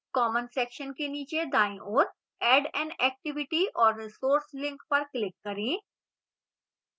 common section के नीचे दाईं ओर add an activity or resource link पर click करें